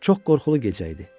Çox qorxulu gecə idi.